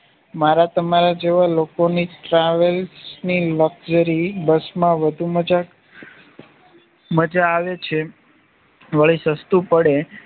મારા તમારા જેવા લોકોની ટ્રાવેલની લશ્કરી બસ માં વધુ મજાક માજા આવે છે વળી સસ્તું પડે